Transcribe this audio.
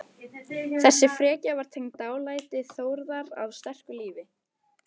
Þessi frekja var tengd dálæti Þórðar á sterku lífi.